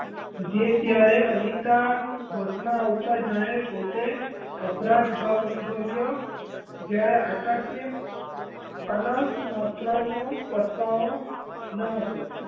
જે ત્યારે અનિતા હોશમાં આવતાં જાણે પોતે અપરાધ ભાવ અનુભવ્યો જ્યારે આકાશ ને અનસ માત્રનો પસ્તાવો ન હતો.